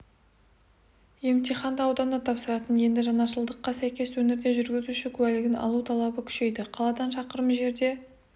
емтиханды ауданда тапсыратын енді жаңашылдыққа сәйкес өңірде жүргізуші куәлігін алу талабы күшейді қаладан шақырым жерде